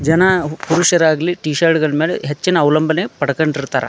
ಜನ ಪುರುಷರಾಗಲಿ T shirt ಮೇಲೆ ಹೆಚ್ಚಿನ ಅವಲಂಬನೆ ಪಡ್ಕೊಂಡ್ ಇರ್ತಾರ.